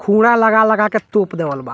लगा-लगा के तोप देवल बा।